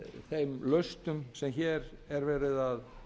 þeim lausnum sem hér er verið að